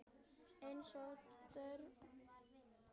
Eins og börn gera.